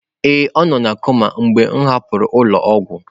Ee, ọ nọ koma mgbe m hapụrụ ụlọ ọgwụ.